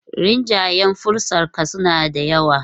Rinjayen fuskarsa suna da yawa.